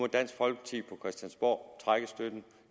dansk folkeparti på christiansborg trække støtten